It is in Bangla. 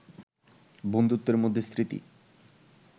বন্ধুত্বের মধ্যে স্মৃতি